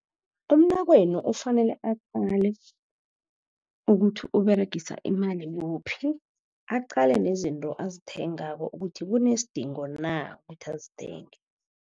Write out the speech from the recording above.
Umnakwenu ufanele aqale ukuthi uberegisa imali kuphi, aqale nezinto azithengako ukuthi kunesidingo na kuthi azithenge.